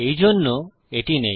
এইজন্য এটি নেই